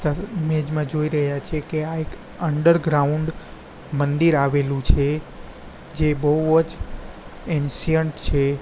Image મા જોઇ રહ્યા છે કે આ એક ઇન્ડરગ્રાઉન્ડ મંદિર આવેલુ છે જે બૌજ એનશીયન્ટ છે.